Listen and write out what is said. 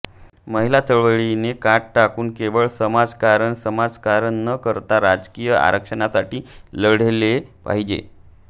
महिला चळवळीने कात टाकून केवळ समाजकारण समाजकारण न करता राजकीय आरक्षणासाठी लढले पाहिजे